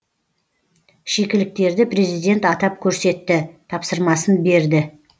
шикіліктерді президент атап көрсетті тапсырмасын берді